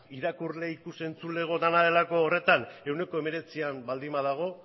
irakurleei ikus entzuleei dena delako horretan ehuneko hemeretzian baldin badago